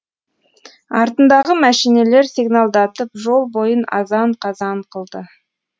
артындағы мәшинелер сигналдатып жол бойын азан қазан қылды